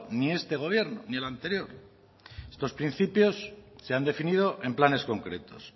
ni este gobierno ni el anterior estos principios se han definido en planes concretos